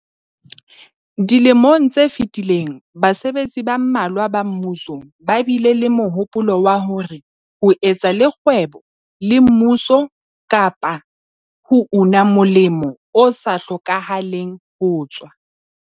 Dilemong tse fetileng basebetsi ba mmalwa ba mmuso ba bile le mohopolo wa hore ho etsa le kgwebo le mmuso kapa ho una molemo o sa hlokahaleng ho tswa